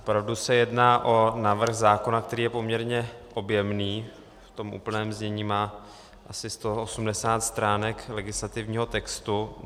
Opravdu se jedná o návrh zákona, který je poměrně objemný, v tom úplném znění má asi 180 stránek legislativního textu.